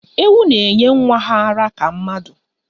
Ewu na-enye nwa ha ara ka mmadụ